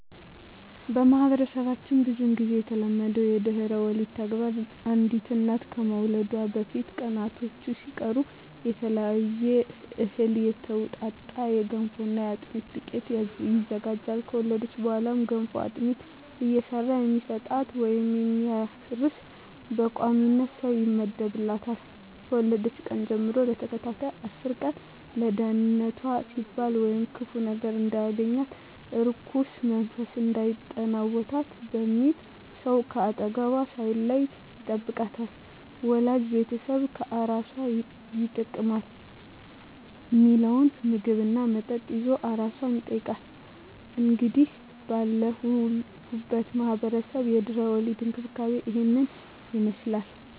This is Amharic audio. በማህበረሰባችን ብዙ ግዜ የተለመደው የድህረ ወሊድ ተግባር አንዲት እናት ከመውለዷ በፊት ቀናቶች ሲቀሩ ከተለያየ እህል የተውጣጣ የገንፎና የአጥሚት ዱቄት ይዘጋጃል። ከወለደች በኋላ ገንፎና አጥሚት እየሰራ የሚሰጣት ወይም የሚያርስ በቋሚነት ሰው ይመደብላታል፣ ከወለደችበት ቀን ጀም ለተከታታይ አስር ቀን ለደንነቷ ሲባል ወይም ክፉ ነገር እንዳያገኛት(እርኩስ መንፈስ እንዳይጠናወታት) በሚል ሰው ከአጠገቧ ሳይለይ ይጠብቃታል፣ ወዳጅ ቤተሰብ ለአራሷ ይጠቅማል ሚለውን ምግብ እና መጠጥ ይዞ አራሷን ይጠይቃል። እንግዲህ ባለሁበት ማህበረሰብ የድህረ ወሊድ እንክብካቤ እሂን ይመስላል።